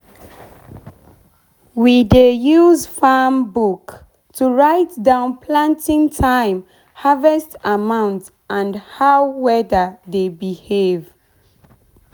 we dey use farm book to write down planting time harvest amount and how weather dey behave.